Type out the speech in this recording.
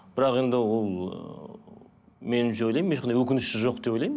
бірақ енді ол ыыы меніңше ойлаймын ешқандай өкініші жоқ деп ойлаймын